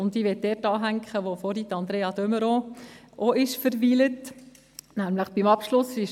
Ich möchte dort anschliessen, wo Andrea de Meuron vorhin verweilt ist.